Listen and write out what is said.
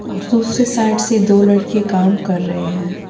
.اور دوسرے سائیڈ سے دو لڑکے کام کر رہے ہیں